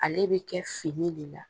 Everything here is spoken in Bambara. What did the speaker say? Ale bɛ kɛ fini de la.